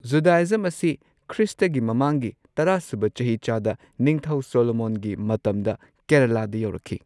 Judaism ꯑꯁꯤ ꯈ꯭ꯔꯤꯁꯇꯒꯤ ꯃꯃꯥꯡꯒꯤ ꯇꯔꯥꯁꯨꯕ ꯆꯍꯤꯆꯥꯗ ꯅꯤꯡꯊꯧ ꯁꯣꯂꯣꯃꯣꯟꯒꯤ ꯃꯇꯝꯗ ꯀꯦꯔꯦꯂꯥꯗ ꯌꯧꯔꯛꯈꯤ꯫